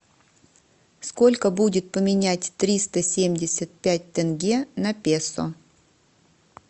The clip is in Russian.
сколько будет поменять триста семьдесят пять тенге на песо